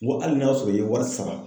N go hali n'a sɔrɔ i ye wari sara